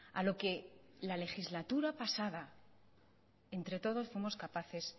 a lo que la legislatura pasada entre todos fuimos capaces